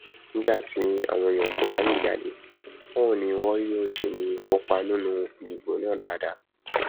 nígbà tí àwọn èèyàn kò bá lè jáde báwo ni wọn yóò ṣe lè kópa nínú ìdìbò náà dáadáa